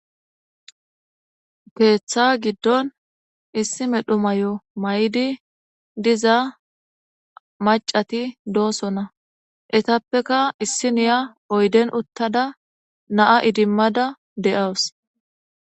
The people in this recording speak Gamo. Keeththa giddon issi medhu may7o may7di diza macati doosona etappeka issi niya oyden uttada naa idimmada de7aws.